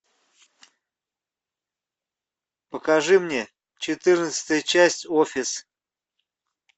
покажи мне четырнадцатая часть офис